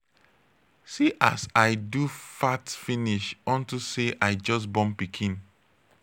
see as i do fat finish unto say i just born pikin.